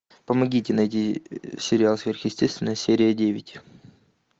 помогите найти сериал сверхъестественное серия девять